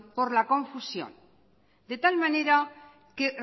por la confusión de tal manera que